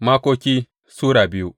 Makoki Sura biyu